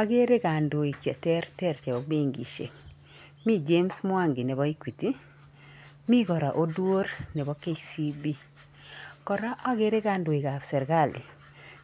Akere kandoik cheterter chebo benkishek. Mi James Mwangi nebo Equity, mi kora Oduor nebo KCB. Kora akere kandoikap serikali